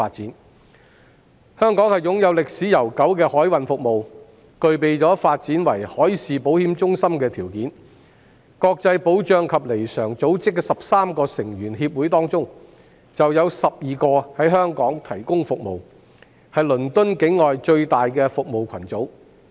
海運服務在香港有悠久歷史，香港亦具備發展為海事保險中心的條件，國際保障及彌償組織的13個成員協會當中，有12個在香港提供服務，是倫敦以外最大的服務群組。